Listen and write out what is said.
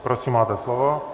Prosím, máte slovo.